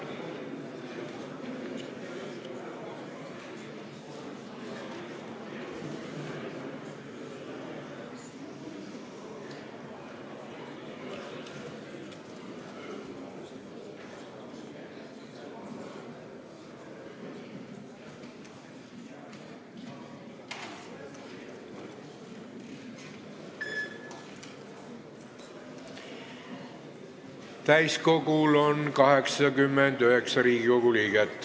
Kohaloleku kontroll Täiskogul on 89 Riigikogu liiget.